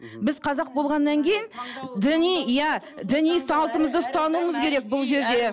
мхм біз қазақ болғаннан кейін діни иә діни салтымызды ұстануымыз керек бұл жерде